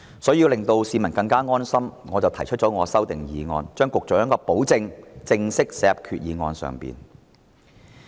所以，要令到市民更安心，我提出了修訂議案，把局長的保證正式寫入決議案內。